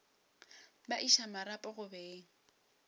ba iša marapo go beng